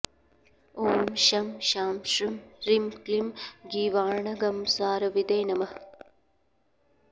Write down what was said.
ॐ शं शां षं ह्रीं क्लीं गीर्वाणागमसारविदे नमः